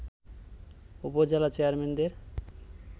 উপজেলা চেয়ারম্যানদের